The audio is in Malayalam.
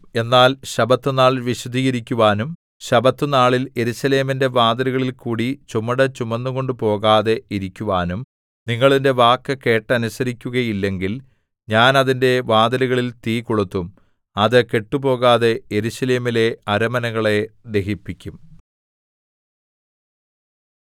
എന്നാൽ ശബ്ബത്തുനാൾ വിശുദ്ധീകരിക്കുവാനും ശബ്ബത്തുനാളിൽ യെരൂശലേമിന്റെ വാതിലുകളിൽകൂടി ചുമട് ചുമന്നുകൊണ്ടുപോകാതെ ഇരിക്കുവാനും നിങ്ങൾ എന്റെ വാക്കു കേട്ടനുസരിക്കുകയില്ലെങ്കിൽ ഞാൻ അതിന്റെ വാതിലുകളിൽ തീ കൊളുത്തും അത് കെട്ടുപോകാതെ യെരൂശലേമിലെ അരമനകളെ ദഹിപ്പിക്കും